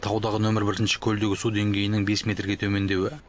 таудағы нөмір бірінші көлдегі су деңгейінің бес метрге төмендеуі